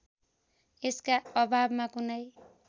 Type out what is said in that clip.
यसका अभावमा कुनै